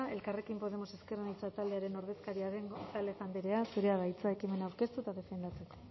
elkarrekin podemos ezker anitza taldearen ordezkaria den gonzález andrea zurea da hitza ekimena aurkeztu eta defendatzeko